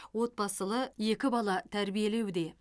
отбасылы екі бала тәрбиелеуде